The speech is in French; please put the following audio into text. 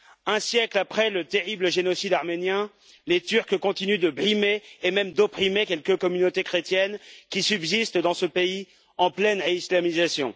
Un siècle après le terrible génocide arménien, les Turcs continuent de brimer et même d'opprimer quelques communautés chrétiennes, qui subsistent dans ce pays en pleine islamisation.